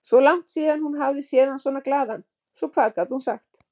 Svo langt síðan hún hafði séð hann svona glaðan, svo hvað gat hún sagt?